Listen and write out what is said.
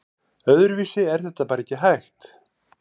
Öðruvísi er þetta bara ekki hægt